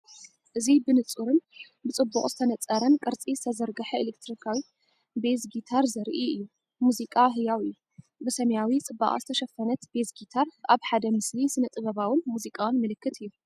እዚ ብንጹርን ብጽቡቕ ዝተነጸረን ቅርጺ ዝተዘርግሐ ኤሌክትሪካዊ ቤዝ ጊታር ዘርኢ እዩ። ሙዚቃ ህያው እዩ! ብሰማያዊ ጽባቐ ዝተሸፈነት ቤዝ ጊታር፡ ኣብ ሓደ ምስሊ ስነ-ጥበባውን ሙዚቃውን ምልክት እዩ።